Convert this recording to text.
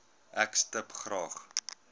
ek stip graag